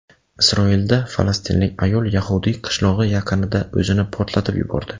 Isroilda falastinlik ayol yahudiy qishlog‘i yaqinida o‘zini portlatib yubordi.